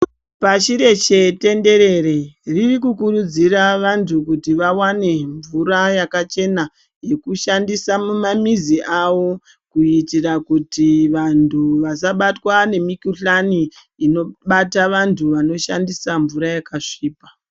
Pashi rese tendereree , riri kukurudziraa vantu kuti vawane mvura yakachenaa yekushandisa mumamizi avo kuitira kuti vantu vasabatwa nemikuhlani inobata vantu vanoshandisa mvuraa yakasvipaa.